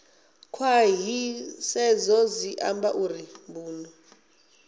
khwaṱhisedzo zwi amba uri mbuno